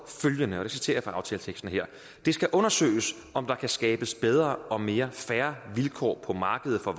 følgende her citerer fra aftaleteksten det skal undersøges om der kan skabes bedre og mere fair vilkår på markedet for